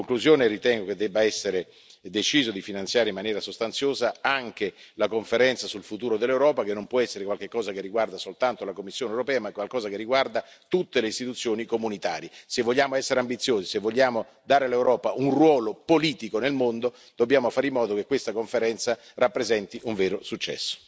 In conclusione, ritengo che debba essere deciso di finanziare in maniera sostanziosa anche la Conferenza sul futuro dell'Europa che non può essere qualche cosa che riguarda soltanto la Commissione europea, ma qualcosa che riguarda tutte le istituzioni comunitarie. Se vogliamo essere ambiziosi e vogliamo dare all'Europa un ruolo politico nel mondo, dobbiamo fare in modo che questa Conferenza rappresenti un vero successo.